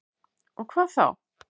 Og hvað þá?